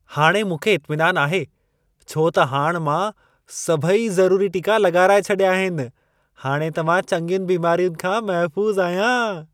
हाणे मूंखे इत्मिनान आहे छो त हाणि मां सभई ज़रूरी टिका लॻाराए छॾिया आहिन। हाणे त मां चङियुनि बीमारियुनि खां महफ़ूज़ आहियां।